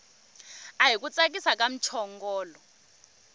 ahi ku tsakisa ka muchongolo